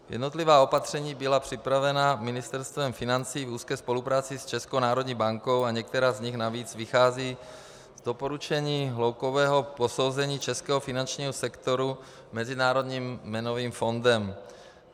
Jednotlivá opatření byla připravena Ministerstvem financí v úzké spolupráci s Českou národní bankou a některá z nich navíc vycházejí z doporučení hloubkového posouzení českého finančního sektoru Mezinárodním měnovým fondem.